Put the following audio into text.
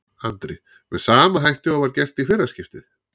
Andri: Með sama hætti og var gert í fyrra skiptið?